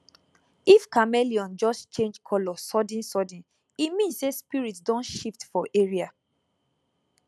if chameleon just change colour suddensudden e mean say spirit don shift for area